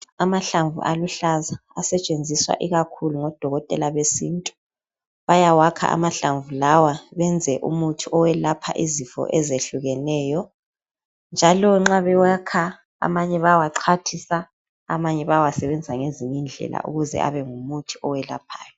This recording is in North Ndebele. Amahlamvu aluhlaza asetshenziswa ikakhulu ngodokotela besintu. Bayawakha amahlamvu lawa benze umuthi owelapha izifo ezehlukeneyo njalo nxa bewakha amanye bayawaxhwathisa , amanye bayawasebenzisa ngezinye indlela ukuze abe ngumuthi owelaphayo.